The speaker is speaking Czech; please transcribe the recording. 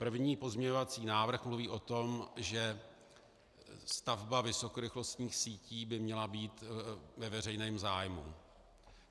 První pozměňovací návrh mluví o tom, že stavba vysokorychlostních sítí by měla být ve veřejném zájmu.